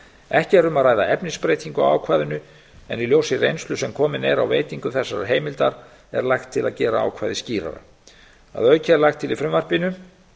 ekki er um að ræða efnisbreytingu á ákvæðinu en í ljósi reynslu sem komin er á veitingu þessarar heimildar er lagt til að gera ákvæðið skýrara að auki er lagt til í frumvarpinu